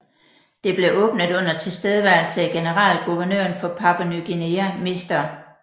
Det blev åbnet under tilstedeværelse af generalguvernøren for Papua Ny Giunea Mr